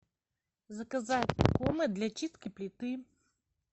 заказать комет для чистки плиты